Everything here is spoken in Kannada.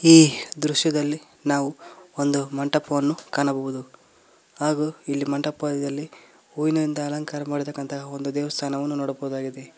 ಈ ದೃಶ್ಯದಲ್ಲಿ ನಾವು ಒಂದು ಮಂಟಪವನ್ನು ಕಾಣಬಹುದು ಹಾಗೂ ಇಲ್ಲಿ ಮಂಟಪದಲ್ಲಿ ಹೂವಿನಿಂದ ಅಲಂಕಾರ ಮಾಡಿದಂತಹ ಒಂದು ದೇವಸ್ಥಾನವನ್ನು ನೋಡಬಹುದು ಆಗಿದೆ.